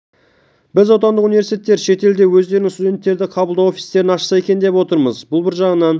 біз отандық университтер шетелде өздерінің студенттерді қабылдау офистерін ашса екен деп отырмыз бұл бір жағынан